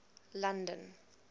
london